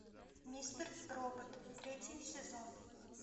мистер робот третий сезон